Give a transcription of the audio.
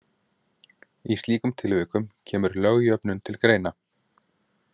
Í slíkum tilvikum kemur lögjöfnun til greina.